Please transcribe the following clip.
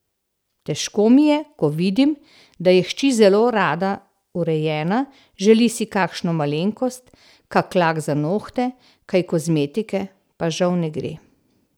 Težko mi je, ko vidim, da je hči zelo rada urejena, želi si kakšno malenkost, kak lak za nohte, kaj kozmetike, pa žal ne gre.